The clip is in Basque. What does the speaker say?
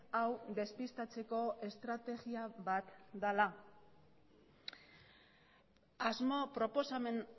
hau despistatzeko estrategia bat dela asmo proposamen